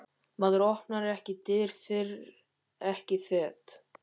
Maður opnar ekki dyr, fer ekki fet.